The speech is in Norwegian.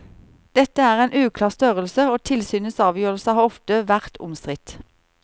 Dette er en uklar størrelse, og tilsynets avgjørelser har ofte vært omstridt.